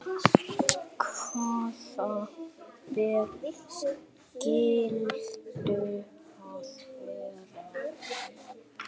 Hvaða ber skyldu það vera?